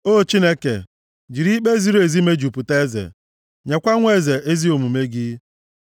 O Chineke, jiri ikpe ziri ezi mejupụta eze. Nyekwa nwa eze ezi omume gị.